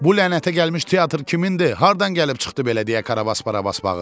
Bu lənətə gəlmiş teatr kimindir, hardan gəlib çıxdı belə deyə Karabas Barabas bağırdı.